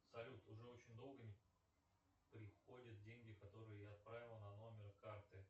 салют уже очень долго не приходят деньги которые я отправил на номер карты